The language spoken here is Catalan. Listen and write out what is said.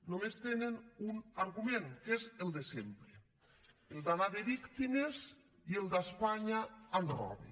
només tenen un argument que és el de sempre el d’anar de víctimes i el d’ espanya ens roba